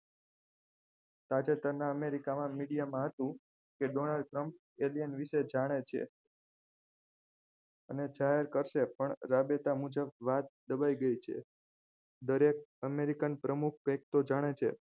તાજેતરના america માં media માં હતું કે donald trump વિશે જાણે છે અને જાહેર કરશે પણ રાબેતા મુજબ વાત દબાઈ ગઈ છે દરેક america પ્રમુખ કઈક તો જાણે છે